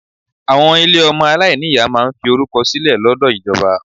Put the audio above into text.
Àwọn ilé ọmọ aláìní ìyá máa ń fi orúkọ sílẹ̀ lọ́dọ̀ ìjọba.